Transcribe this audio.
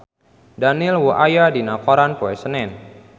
Daniel Wu aya dina koran poe Senen